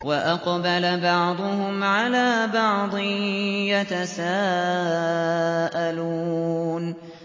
وَأَقْبَلَ بَعْضُهُمْ عَلَىٰ بَعْضٍ يَتَسَاءَلُونَ